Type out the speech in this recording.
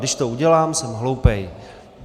Když to udělám, jsem hloupej.